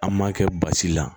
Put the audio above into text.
An m'a kɛ basi la